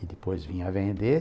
E depois vim a vender.